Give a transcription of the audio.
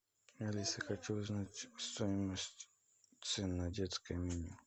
алиса хочу узнать стоимость цен на детское меню